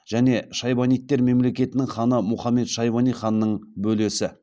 және шайбанидтер мемлекетінің ханы мұхаммед шайбани ханның бөлесі